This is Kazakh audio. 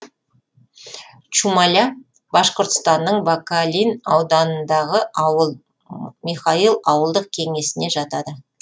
чумаля башқұртстанның бакалин ауданындағы ауыл михайл ауылдық кеңесіне жатады